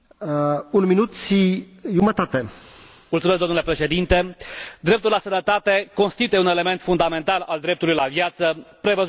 Domnule Președinte, dreptul la sănătate constituie un element fundamental al dreptului la viață prevăzut de articolul 3 din Declarația universală a drepturilor omului.